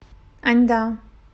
аньда